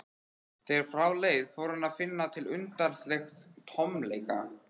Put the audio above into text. Þegar frá leið fór hann að finna til undarlegs tómleika.